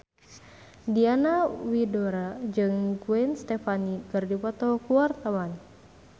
Diana Widoera jeung Gwen Stefani keur dipoto ku wartawan